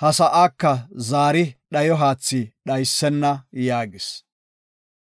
ha sa7aaka zaari dhayo haathi dhaysena” yaagis.